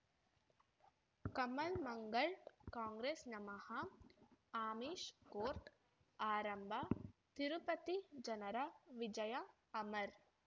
ಕಮಲ್ ಮಂಗಳ್ ಕಾಂಗ್ರೆಸ್ ನಮಃ ಅಮಿಷ್ ಕೋರ್ಟ್ ಆರಂಭ ತಿರುಪತಿ ಜನರ ವಿಜಯ ಅಮರ್